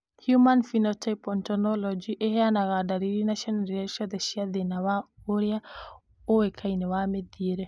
Human Phenotype Ontology ĩheanaga ndariri na cionereria ciothe cia thĩna wa ũrĩa ũĩkaine wa mĩthiĩre?